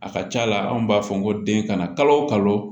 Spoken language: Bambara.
A ka ca la anw b'a fɔ n ko den kana kalo o kalo